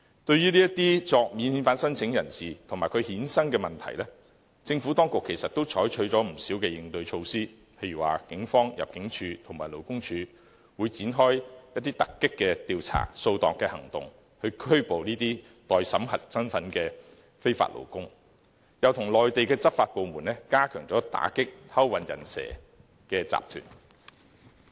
對於這些免遣返聲請人士及其衍生的問題，政府當局其實採取了不少應對措施，例如警方、入境處及勞工處會展開突擊調查、掃蕩行動，拘捕這些待審核身份的非法勞工，又跟內地執法部門聯手加強打擊偷運"人蛇"集團。